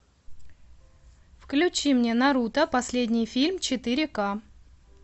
включи мне наруто последний фильм четыре ка